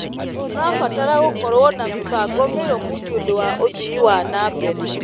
Tũrabatara gũkorwo na mĩbango mĩrũmu nĩ ũndũ wa ũthii wa na mbere.